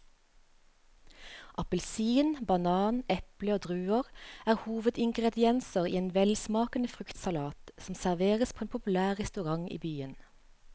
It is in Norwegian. Appelsin, banan, eple og druer er hovedingredienser i en velsmakende fruktsalat som serveres på en populær restaurant i byen.